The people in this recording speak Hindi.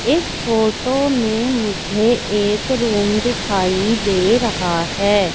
इस फोटो में मुझे एक रूम दिखाई दे रहा हैं।